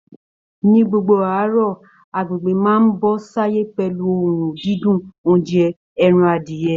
Ní gbogbo àárọ̀, agbègbè máa ń bọ́ sáyé pẹ̀lú oòrùn dídùn oúnjẹ ẹran adìyẹ